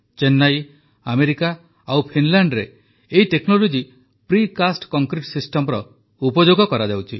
Chennai America ଓ ଫିନଲାଣ୍ଡରେ ଏହି ଟେକ୍ନୋଲୋଜି ପ୍ରିକାଷ୍ଟ୍ କଂକ୍ରିଟ୍ ସିଷ୍ଟମର ଉପଯୋଗ କରାଯାଉଛି